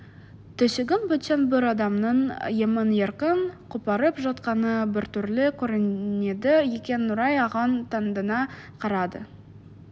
төсегін бөтен бір адамның емін-еркін қопарып жатқаны біртүрлі көрінеді екен нұрай оған таңдана қарады